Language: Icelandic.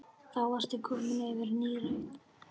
Samt var honum kalt.